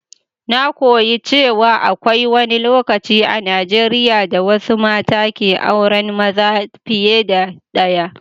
Na koyi cewa akwai wani lokaci a Najeriya da wasu mata ke auran maza fiye da ɗaya.